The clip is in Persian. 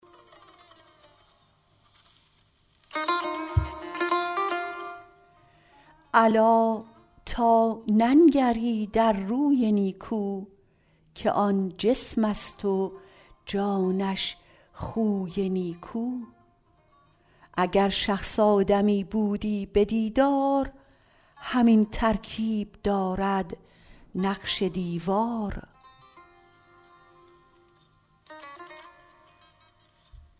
الا تا ننگری در روی نیکو که آن جسمست و جانش خوی نیکو اگر شخص آدمی بودی به دیدار همین ترکیب دارد نقش دیوار